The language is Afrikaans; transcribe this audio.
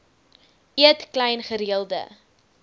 eet klein gereelde